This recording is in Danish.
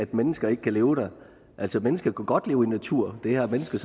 at mennesker ikke kan leve der altså mennesket kunne godt leve i natur det har mennesket